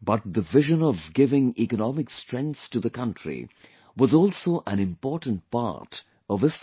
but the vision of giving economic strength to the country was also an important part of his thought